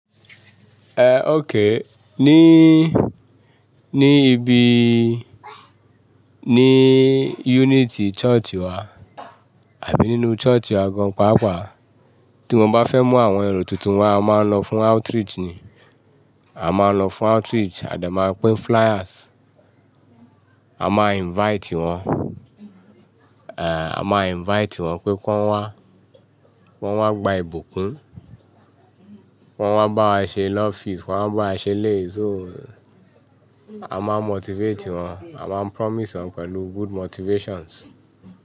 Eh, okay. Ni, ni ibi, ni unity church wa àbí nínú church wa gan paapaa, tí wọ́n bá fẹ́ mú àwọn ẹro tuntun wá, a máa ń lọ fún outreach ni. A máa ń lọ fún outreach a de máa pín flyers. A máa invite wọn. Eh, a máa invite wọn pé kí wọ́n wá, kí wọ́n wá gba ìbùkún, kí wọ́n wá báwa ṣe love feast, kí wọ́n wá bá ṣe eléyi so. A máa motivate wọn, a máa promise wọn pẹ̀lú good motivations.